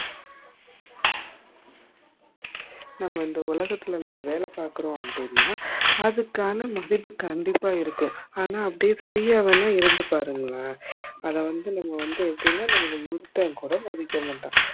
நம்ப இந்த உலகத்துல நாம வேல பாக்குறோம் அப்டினா அதுக்கான மதிப்பு கண்டிப்பா இருக்கும் ஆனா அதே free ஆ வென இருந்து பாருங்கள அதா வந்து நம்ப வந்து எப்படின்னா ஒருத்தன் கூட மதிக்கமாட்டான்